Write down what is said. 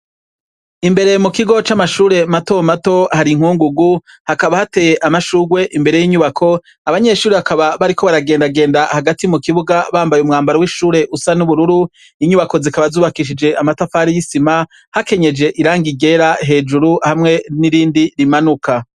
Imbere mu kigo c'amashure mato mato hari inkungugu, hakaba hateye amashurwe imbere y'inyubako, abanyeshure bakaba bariko baragendagenda hagati mu kibuga bambaye umwambaro w'ishure usa n'ubururu, inyubako zikaba zubakishije amatafari y'isima, hakenyeje irangi ryera hejuru hamwe n'irindi rimanuka.